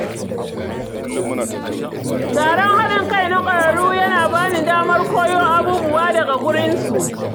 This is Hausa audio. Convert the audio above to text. Taron haɗin kai na ƙwararru yana ba ni damar koyo abubuwa daga gurinsu.